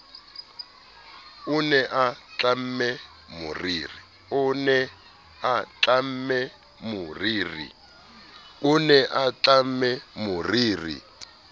o ne a tlamme moriri